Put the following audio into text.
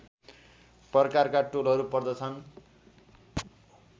प्रकारका टोलहरू पर्दछन्